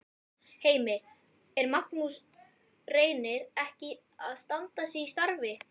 Heimir: Er Magnús Reynir ekki að standa sig í starfi?